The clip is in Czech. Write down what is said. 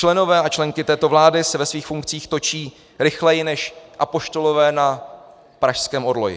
Členové a členky této vlády se ve svých funkcích točí rychleji než apoštolové na pražském orloji.